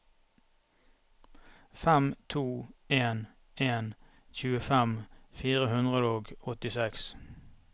fem to en en tjuefem fire hundre og åttiseks